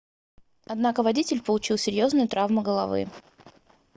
однако водитель получил серьезные травмы головы